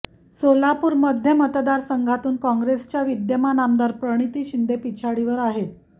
सोलापूर मध्य मतदारसंघातून काँग्रेसच्या विद्यमान आमदार प्रणिती शिंदे पिछाडीवर आहेत